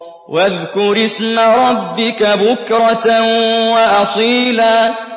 وَاذْكُرِ اسْمَ رَبِّكَ بُكْرَةً وَأَصِيلًا